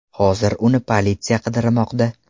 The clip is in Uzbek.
Hozir uni politsiya qidirmoqda.